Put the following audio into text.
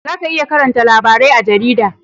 Za ka iya karanta labarai a jarida